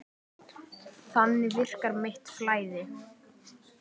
Þannig virkar mitt flæði.